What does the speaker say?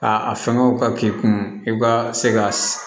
A a fɛngɛw ka k'i kun i ka se ka